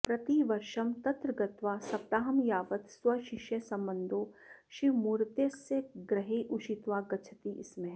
प्रतिवर्षं तत्र गत्वा सप्ताहं यावत् स्वशिष्यबन्धोः शिवमूर्तय्यस्य गृहे उषित्वा गच्छति स्म